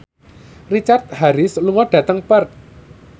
Richard Harris lunga dhateng Perth